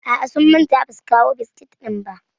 A'a, sun manta ba su kawo biskit ɗin ba.